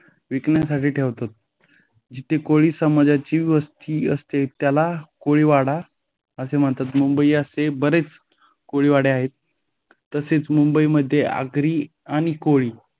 विकण्यासाठी ठेवतात. जिथे कोळी समाजाची वस्ती असते त्याला कोळीवाडा असे म्हणतात. मुंबईत असे बरेच कोळीवाडा आहे. तसेच मुंबईमध्ये आगरी आणि कोळी